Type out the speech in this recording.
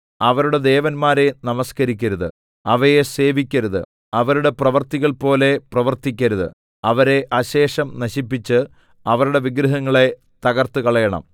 അവരുടെ ദേവന്മാരെ നമസ്കരിക്കരുത് അവയെ സേവിക്കരുത് അവരുടെ പ്രവൃത്തികൾപോലെ പ്രവർത്തിക്കരുത് അവരെ അശേഷം നശിപ്പിച്ച് അവരുടെ വിഗ്രഹങ്ങളെ തകർത്തുകളയണം